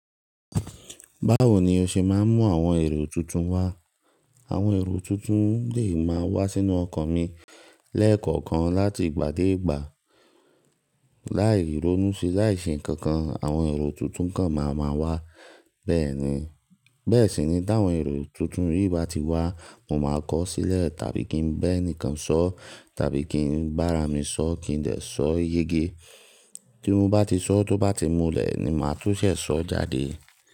Báwo ni o ṣe máa ń mú àwọn èrò tuntun wá? Àwọn èrò tuntun lè máa wá sínú ọkàn mi lẹ́ẹ̀kọ̀kan láti ìgbà dé ìgbà. Láì ronú sí, láì ṣe nǹkan kan àwọn èrò tuntun kan máa máa wá. Bẹ́ẹ̀ sì ni tí àwọn èrò tuntun yìí bá ti wá, mo máa kọ́ sílẹ̀ tàbí kí n bẹ́ ẹnìkan sọ, tàbí kí n gbàrá mi sọ kí n lè sọ yége. Tí mo bá ti sọ, tó bá ti múlẹ̀ ni màá tún ṣe sọ jáde.